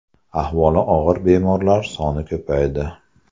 Ahvoli og‘ir bemorlar soni ko‘paydi.